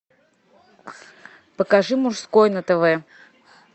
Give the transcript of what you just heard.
покажи мужской на тв